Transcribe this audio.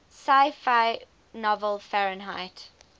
sci fi novel fahrenheit